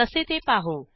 कसे ते पाहू